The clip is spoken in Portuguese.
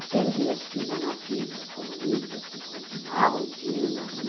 Aqueles meus tios anarquistas, comunistas, que continuavam tios ainda,